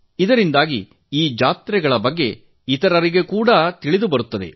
ಇದರಿಂದಾಗಿ ಈ ಜಾತ್ರೆಗಳ ಬಗ್ಗೆ ಇತರರಿಗೆ ಕೂಡಾ ತಿಳಿಯುತ್ತದೆ